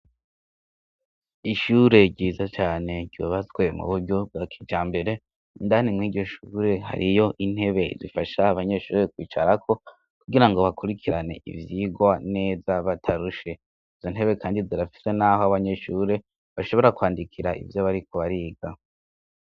Ishure ryiza cane ryubatswe mu buryo bwa kijmbere. Indani mw' iryo shure hariyo intebe zifasha abanyeshuri kwicarako kugira ngo bakurikirane ivyigwa neza batarushe. Izo ntebe kandi zirafise n'aho abanyeshure bashobora kwandikira ivyo bariko bariga.